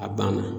A banna